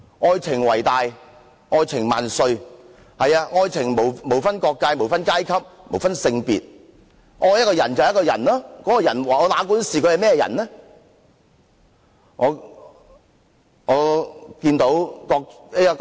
愛情為大，愛情萬歲，愛情無分國界、無分階級、無分性別，愛一個人便是愛一個人，哪管他是甚麼人。